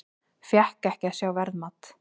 Fékk ekki að sjá verðmat